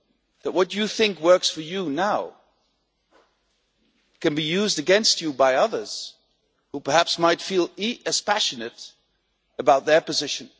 that what you think works for you now can be used against you by others who, perhaps, might feel as passionate about their position.